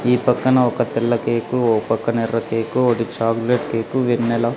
ఈ పక్కన ఒక తెల్ల కేకు ఓ పక్కన ఎర్ర కేకు ఒటి చాక్లెట్ కేకు వెన్నెలా --